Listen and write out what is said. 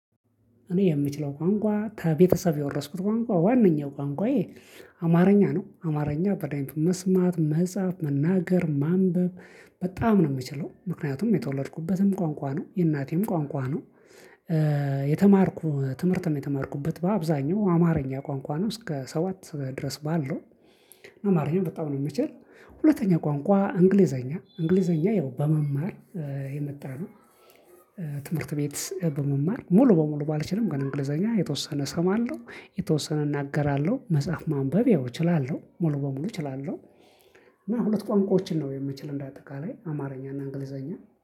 እኔ የምችለው ቋንቋ ከቤተሰብ የወረስኩት ቋንቋ ዋነኛው ቋንቋዬ አማርኛ ነው አማርኛ በደንብ መስማት መጻፍ መናገር ማንበብ በጣም ነው የምችለው ምክንያቱም የተወለድኩበትም ቋንቋ ነው የእናቴም ቋንቋ ነው። የተማርኩ ትምህርትም የተማርኩበት በአብዛኛው አማርኛ ቋንቋ ነው እስከ ሰባት ድረስ ባለው አማርኛ በጣም ነው የምችለው። ሁለተኛ ቋንቋ እንግሊዘኛ እንግሊዘኛ ያው በመማር የመጣ ነው። ትምህርት ቤት በመማር ሙሉ በሙሉ ባልችልም ግን እንግሊዘኛ የተወሰነ እሰማለሁ የተወሰነ እናገራለሁ መጽሐፍ ማንበብ ያው እችላለሁ ሙሉ በሙሉ እችላለሁ። እና ሁለት ቋንቋዎችን ነው የምችለው እንዳጠቃላይ አማርኛ እና እንግሊዘኛ